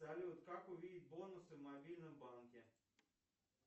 салют как увидеть бонусы в мобильном банке